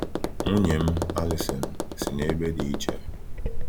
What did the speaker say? Nwunye m, Alison, si n’ebe dị iche.